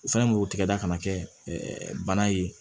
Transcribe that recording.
U fɛnɛ b'o tigɛ da kana kɛ bana ye